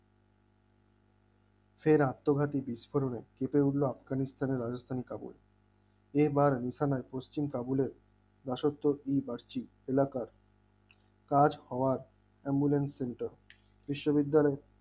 ফের আত্মঘাতিক বিস্ফোরণে কেঁপে উঠল আফগানিস্তান ও রাজস্থান তাবুল এবার নিশানার পশ্চিম তাবলের দাসত্ব কিবা এলাকার কাজ হওয়ার অ্যাম্বুলেন্স সেন্টার বিশ্ববিদ্যালয়